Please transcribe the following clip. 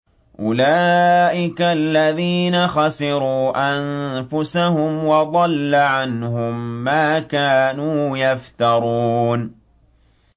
أُولَٰئِكَ الَّذِينَ خَسِرُوا أَنفُسَهُمْ وَضَلَّ عَنْهُم مَّا كَانُوا يَفْتَرُونَ